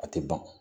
A tɛ ban